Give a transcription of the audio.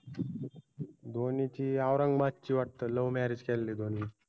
धोनीची आदिरंगाबादची ए वाटत love marriage केलेलंय धोनी न